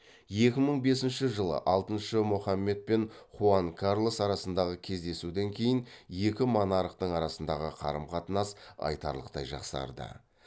екі мың бесінші жылы алтыншы мохамед мен хуан карлос арасындағы кездесуден кейін екі монархтың арасындағы қарым қатынас айтарлықтай жақсарды